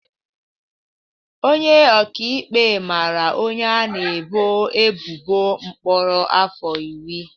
Onye ọka ikpe mara onye a na-ebo ebubo mkpọrọ afọ iri.